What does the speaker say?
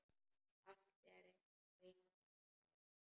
Allt er einu sinni fyrst.